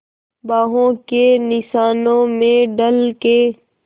बाहों के निशानों में ढल के